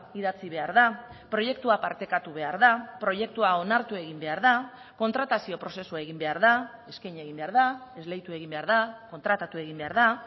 idatzi behar da proiektua partekatu behar da proiektua onartu egin behar da kontratazio prozesua egin behar da eskaini egin behar da esleitu egin behar da kontratatu egin behar da